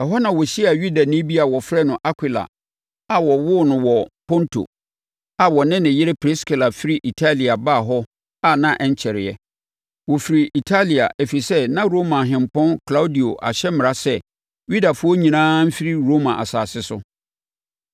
Ɛhɔ na ɔhyiaa Yudani bi a wɔfrɛ no Akwila, a wɔwoo no wɔ Ponto, na ɔne ne yere Priskila firi Italia baa hɔ a na ɛnkyɛreɛ. Wɔfirii Italia, ɛfiri sɛ, na Roma ɔhempɔn Klaudio ahyɛ mmara sɛ Yudafoɔ nyinaa mfiri Roma asase so.